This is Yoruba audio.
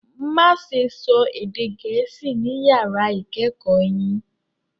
Má ṣe sọ èdè gẹ̀ẹ́sì ni yàrá ìkẹ́kọ̀ọ́ yìí